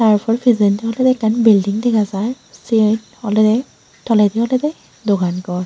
tarpor pijendi olwdey ekkan building dega jai siyen olwdey toledi olwdey dogan gor.